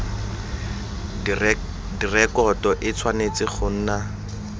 direkoto e tshwanetse go nna